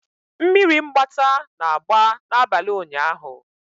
Mmiri mgbata na-agba n'abalị ụnyaahụ.